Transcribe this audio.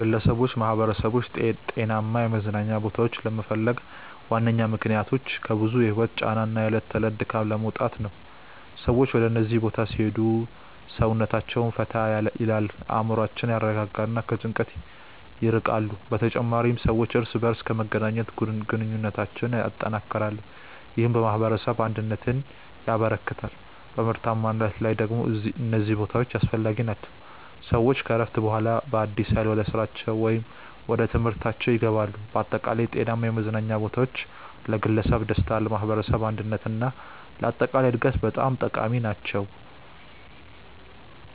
ግለሰቦችና ማኅበረሰቦች ጤናማ የመዝናኛ ቦታዎችን ለመፈለግ ዋነኛ ምክንያቶች ከብዙ የህይወት ጫና እና የዕለት ተዕለት ድካም ለመውጣት ነው። ሰዎች ወደ እነዚህ ቦታዎች ሲሄዱ ሰውነታቸውን ፈታ ይላል፣ አእምሮአቸውን ያረጋጋሉ እና ከጭንቀት ይርቃሉ። በተጨማሪም ሰዎች እርስ በርስ በመገናኘት ግንኙነታቸውን ያጠናክራሉ፣ ይህም የማኅበረሰብ አንድነትን ያበረክታል። በምርታማነት ላይ ደግሞ እነዚህ ቦታዎች አስፈላጊ ናቸው፤ ሰዎች ከእረፍት በኋላ በአዲስ ኃይል ወደ ስራቸው ወይም ወደ ትምህርታችው ይገባሉ። በአጠቃላይ ጤናማ የመዝናኛ ቦታዎች ለግለሰብ ደስታ፣ ለማኅበረሰብ አንድነት እና ለአጠቃላይ እድገት በጣም ጠቃሚ ናቸው።